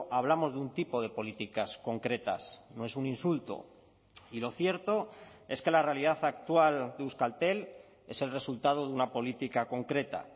hablamos de un tipo de políticas concretas no es un insulto y lo cierto es que la realidad actual de euskaltel es el resultado de una política concreta